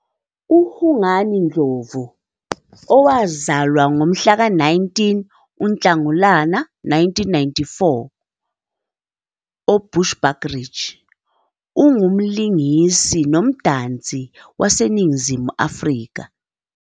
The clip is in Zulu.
UHungani Ndlovu, owazalwa ngomhlaka 19 UNhlangulana 1994, uBushbuckridge, ungumlingisi nomdansi waseNingizimu Afrika.